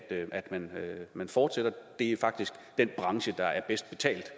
man fortsætter det er faktisk den branche der er bedst betalt